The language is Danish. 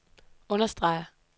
understreger